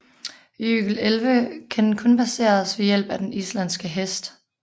Jøkelelve kan kun passeres ved hjælp af den islandske hest